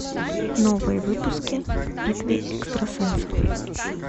новые выпуски битвы экстрасенсов